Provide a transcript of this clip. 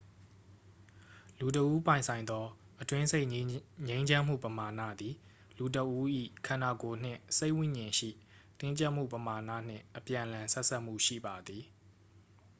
လူတစ်ဦးပိုင်ဆိုင်သော အတွင်းစိတ်ငြိမ်းချမ်းမှုပမာဏသည် လူတစ်ဦး၏ ခန္ဓာကိုယ်နှင့် စိတ်ဝိဉာဉ်ရှိ တင်းကြပ်မှုပမာဏနှင့် အပြန်အလှန်ဆက်စပ်မှုရှိပါသည်